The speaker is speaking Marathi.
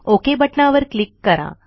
ओक बटणावर क्लिक करा